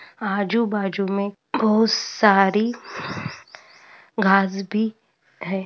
आजू-बाजू बहोत सारी घास भी है|